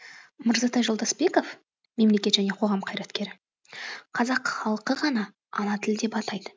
мырзатай жолдасбеков мемлекет және қоғам қайраткері қазақ халқы ғана ана тілі деп атайды